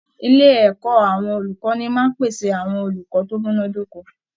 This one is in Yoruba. Ilé ẹ̀kọ́ àwọn olùkọ́ni máa ń pèsè àwọn olùkọ́ tó múná dóko